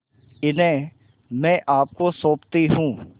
इन्हें मैं आपको सौंपती हूँ